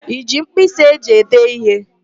I ji mpkịsị e ji ede ihe?